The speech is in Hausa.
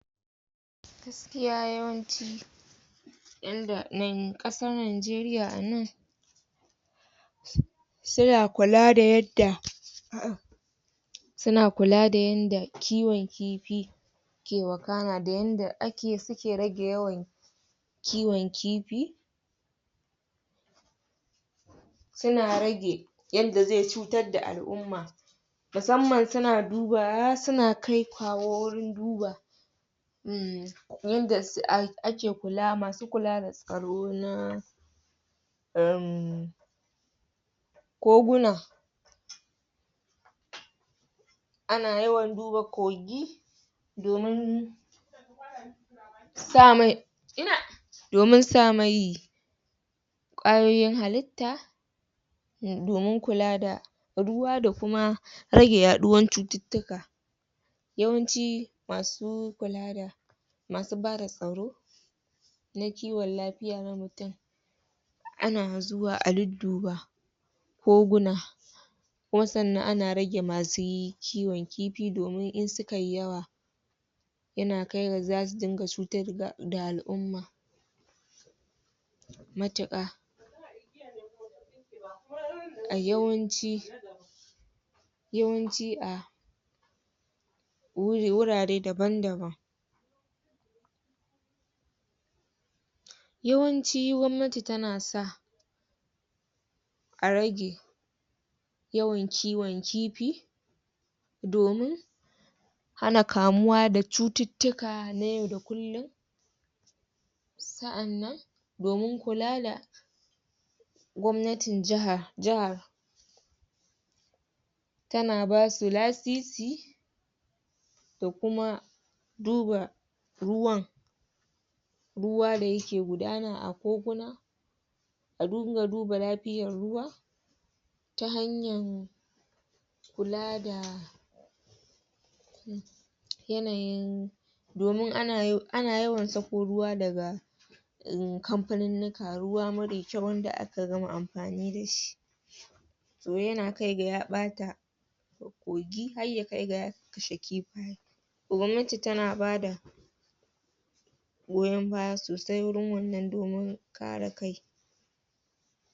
Gaskiya yawanci, yanda nan, ƙasar Najeriya a nan suna kula da yadda um kiwon kifi yake wakana da yadda suke rage yawan kiwon kifi suna rage yadda zai cutar da l'umma musamman suna duba, suna kai-kawo wurin duba yanda ake kula, masu kula da tsaro na um koguna Ana yawan duba kogi domin sa ma...domin sa mai ƙwayoyin halitta domin kula da ruwa da kuma rage yaɗuwar cututtuka Yawanci, masu kula da, masu ba da tsaro na kiwon lafiya na mutum Ana zuwa a dudduba koguna kuma sannan ana rage masu kiwon kifi domin in suka yi yawa yana kai ga za su dinga cutar da al'umma matuƙa. Yawanci, yawanci a wurare daban-daban yawanci gwamnati tana sa a rage yawan kiwon kifi domin hana kamuwa da cututtuka na yau da kullum sa'annan domin kula da gwamnatin jihar tana ba su lasisi da kuma duba ruwan ruwa da yake gudana a koguna a dinga duba lafiyar ruwa ta hanyar kula da yanayin domin ana yawan sako ruwa daga um kamfanunnuka, ruwa marar kyau wanda aka gama amfani da shi yana kai ga ya ɓata kogi har ya kai ga ya kashe kifi Gwamnati tana ba da goyon baya sosai wajen wannan domin kare kai.